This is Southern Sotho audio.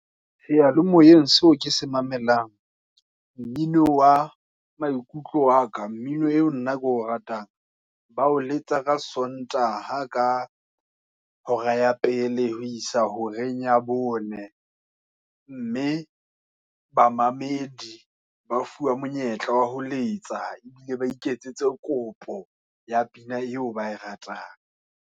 Seya-le-moyeng, seo ke se mamelang, mmino wa maikutlo wa ka, mmino eo nna ke o ratang, bao letsa ka Sontaha, ka hora ya pele, ho isa horeng ya bone. Mme bamamedi ba fuwa monyetla wa ho letsa, ebile ba iketsetse kopo, ya pina eo ba e ratang.